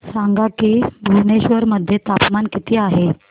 सांगा की भुवनेश्वर मध्ये तापमान किती आहे